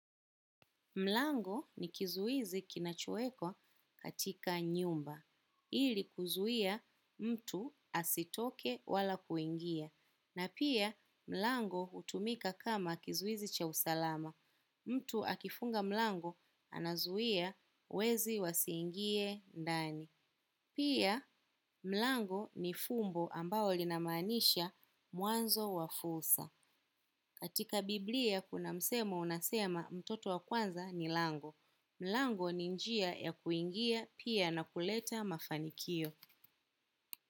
Mlango ni kizuizi kinachowekwa katika nyumba ili kuzuia mtu asitoke wala kuingia. Na pia, mlango hutumika kama kizuizi cha usalama. Mtu akifunga mlango, anazuia wezi wasiingie ndani. Pia, mlango ni fumbo ambao linamaanisha mwanzo wa fursa. Katika biblia, kuna msemo unasema mtoto wa kwanza ni mlango. Mlango ni njia ya kuingia pia na kuleta mafanikio.